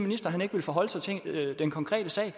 at han ikke vil forholde sig til den konkrete sag